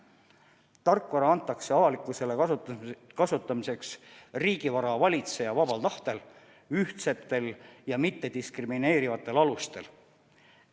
Tarkvara antakse avalikkusele kasutada kasutamiseks riigivara valitseja vabal tahtel, ühtsetel ja mittediskrimineerivatel alustel.